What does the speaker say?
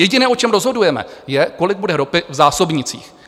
Jediné, o čem rozhodujeme, je, kolik bude ropy v zásobnících.